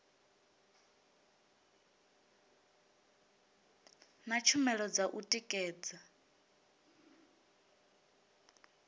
na tshumelo dza u tikedza